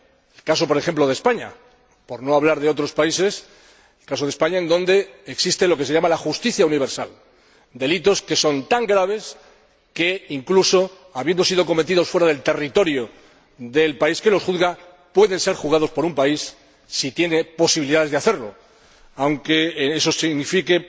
Es el caso por ejemplo de España, por no hablar de otros países, donde existe lo que se llama la justicia universal —delitos que son tan graves que incluso habiendo sido cometidos fuera del territorio de un país pueden ser juzgados por ese país, si tiene posibilidades de hacerlo, aunque eso signifique